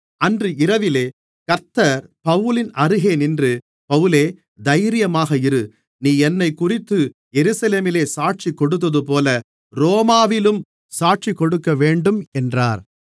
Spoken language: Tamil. அன்று இரவிலே கர்த்தர் பவுலின் அருகே நின்று பவுலே தைரியமாக இரு நீ என்னைக்குறித்து எருசலேமிலே சாட்சிகொடுத்ததுபோல ரோமாவிலும் சாட்சி கொடுக்கவேண்டும் என்றார்